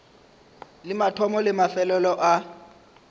le mathomo le mafelelo a